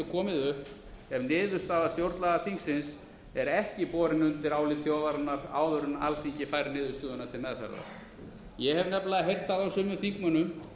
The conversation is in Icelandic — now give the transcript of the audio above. upp ef niðurstaða stjórnlagaþingsins er ekki borin undir álit þjóðarinnar áður en alþingi fær niðurstöðuna til meðferðar ég hef nefnilega heyrt það á sumum þingmönnum